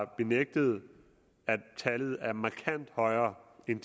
benægtet at tallet er markant højere end